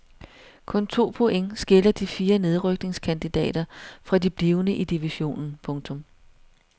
Kun to point skiller de fire nedrykningskandidater fra de blivende i divisionen. punktum